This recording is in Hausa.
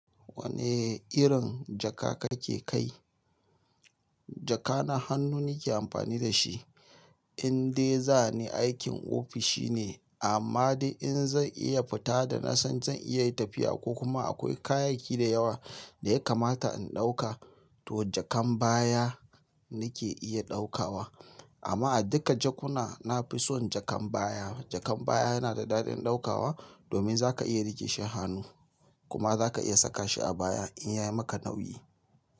Wane irin jaka kake kai? Jaka na hannu nake amfani da shi. Inde zani aikin ofishine, amma de in zan iya fita da nasan zan iya tafiya ko kuma akwai kayayyaki dayawa daya kamata in dauka to jakan baya nake iya daukawa amma a duka jakuna nafison jakan baya. Jakan baya yana da daɗin ɗaukawa domin zaka iya riƙe shi a hannu kuma zaka iya saka shi a baya in yayi maka nauyi.